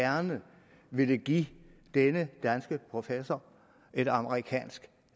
gerne ville give denne danske professor et amerikansk